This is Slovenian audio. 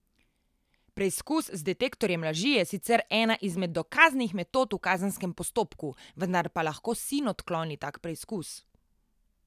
Preizkus z detektorjem laži je sicer ena izmed dokaznih metod v kazenskem postopku, vendar pa lahko sin odkloni tak preizkus.